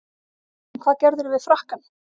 En hvað gerðirðu við frakkann?